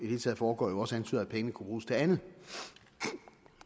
hele taget foregår også antyder at pengene kunne bruges til andet